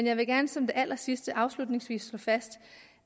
jeg vil gerne som det allersidste afslutningsvis slå fast